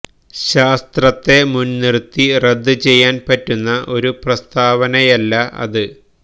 ശാസ്ത്രത്തെ മുന്നിര്ത്തി റദ്ദ് ചെയ്യാന് പറ്റുന്ന ഒരു പ്രസ്താവനയല്ല അത്